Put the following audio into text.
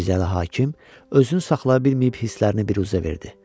Mirzəli hakim özünü saxlaya bilməyib hisslərini büruzə verdi.